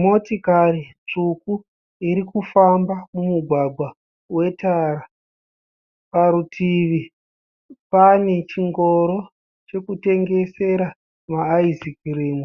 Motikari tsvuku iri kufamba mumugwagwa wetara. Parutivi pane chingoro chekutengesera maayizikirimu